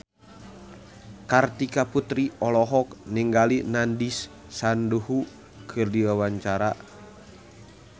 Kartika Putri olohok ningali Nandish Sandhu keur diwawancara